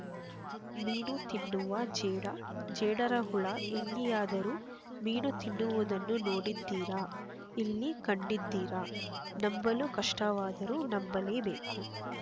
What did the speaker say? ಮೀನು ತಿನ್ನುವ ಜೇಡ ಜೇಡರಹುಳು ಎಲ್ಲಿಯಾದರೂ ಮೀನು ತಿನ್ನುವುದನ್ನು ನೋಡಿದ್ದೀರ ಇಲ್ಲಿ ಕಂಡಿದ್ದೀರ ನಂಬಲು ಕಷ್ಟವಾದರೂ ನಂಬಲೇಬೇಕು